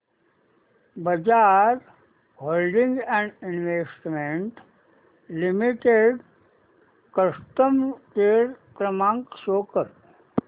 Bajaj holdings and investment limited customer care क्रमांक show कर